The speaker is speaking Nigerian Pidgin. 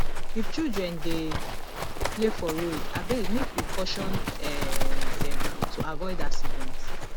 if children dey play for road abeg make we caution um dem to avoid accident